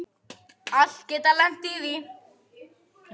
Allir geta lent í því.